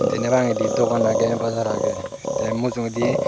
deney bangedi dogan agey bajar agey tey mujugedi.